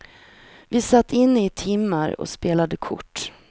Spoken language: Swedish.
Vi satt inne i timmar och spelade kort.